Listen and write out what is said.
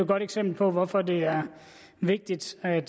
godt eksempel på hvorfor det er vigtigt at